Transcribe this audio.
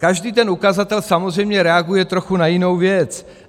Každý ten ukazatel samozřejmě reaguje trochu na jinou věc.